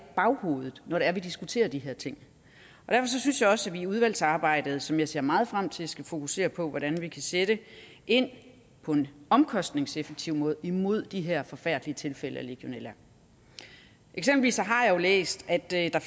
baghovedet når det er vi diskuterer de her ting derfor synes jeg også at vi i udvalgsarbejdet som jeg ser meget frem til skal fokusere på hvordan vi kan sætte ind på en omkostningseffektiv måde imod de her forfærdelige tilfælde af legionella eksempelvis har jeg læst at der der